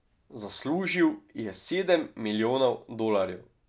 Zaslužil je sedem milijonov dolarjev.